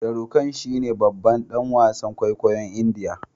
Sharukan shine babban dan wasan kwaikwayon indiya